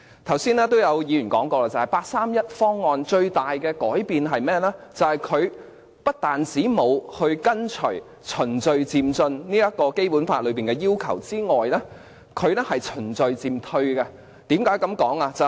剛才也有議員說過，八三一方案帶來的最大改變，是不但沒有跟隨《基本法》的要求循序漸進，更是循序漸退。